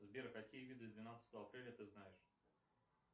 сбер какие виды двенадцатого апреля ты знаешь